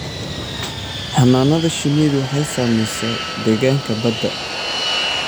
Xannaanada shinnidu waxay saamaysaa deegaanka badda.